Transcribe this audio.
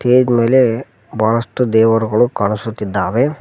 Stage ಮೇಲೆ ಬಹಳಷ್ಟು ದೇವರುಗಳು ಕಾಣಿಸುತ್ತಿದ್ದಾವೆ.